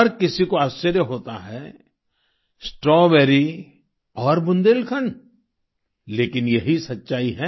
हर किसी को आश्चर्य होता है स्ट्रॉबेरी और बुंदेलखंड लेकिन यही सच्चाई है